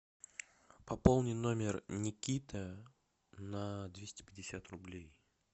пополни номер никита на двести пятьдесят рублей